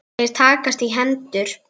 Þeir takast í hendur.